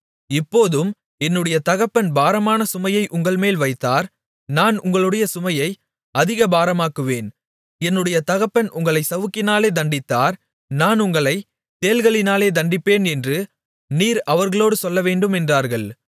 இப்போதும் என்னுடைய தகப்பன் பாரமான சுமையை உங்கள்மேல் வைத்தார் நான் உங்களுடைய சுமையை அதிக பாரமாக்குவேன் என்னுடைய தகப்பன் உங்களைச் சவுக்குகளினாலே தண்டித்தார் நான் உங்களைத் தேள்களினாலே தண்டிப்பேன் என்று நீர் அவர்களோடு சொல்லவேண்டும் என்றார்கள்